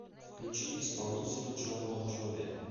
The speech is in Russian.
включи исполнителя джон бон джови